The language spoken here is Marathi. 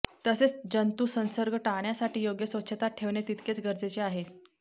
तसेच जंतुसंसर्ग टाळण्यासाठी योग्य स्वच्छता ठेवणे तितकेच गरजेचे आहे